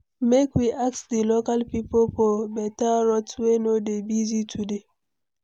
Make we ask di local pipo for beta route wey no dey busy today.